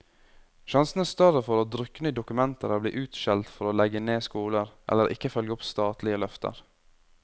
Sjansene er større for å drukne i dokumenter eller bli utskjelt for å legge ned skoler, eller ikke følge opp statlige løfter.